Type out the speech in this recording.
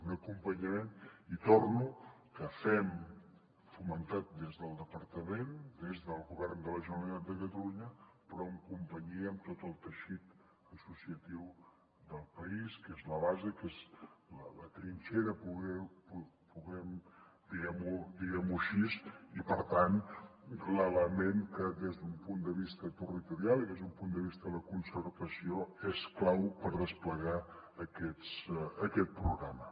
un acompanyament hi torno que fem fomentat des del departament des del govern de la generalitat de catalunya però en companyia amb tot el teixit associatiu del país que és la base que és la trinxera diguem ho així i per tant l’element que des d’un punt de vista territorial i des d’un punt de vista de la concertació és clau per desplegar aquest programa